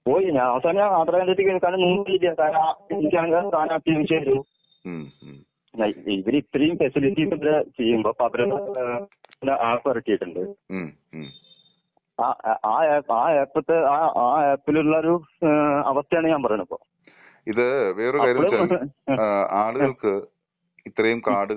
പോയി ഞാൻ അവസാനം ആധാർ കേന്ദ്രത്തിക്ക് കാരണം നിവർത്തിയില്ല. എനിക്കാണെങ്കി നോട്ട്‌ ക്ലിയർ*അല്ല ഇവരിത്രേം ഫെസിലിറ്റീസ് ഒക്കെ ചെയുമ്പോ നോട്ട്‌ ക്ലിയർ* വരട്ടിട്ടുണ്ട്. ആ ആ ആപ്പിത്തെ ആ ആപ്പിലുളൊരു ഏഹ് അവസ്ഥയാണ് ഞാൻ പറയ്ണ് ഇപ്പോ. അപ്പളും ആ ആ ആ.